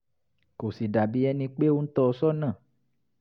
kò sì dà bí ẹni pé ó ń tọ́ ọ sọ́nà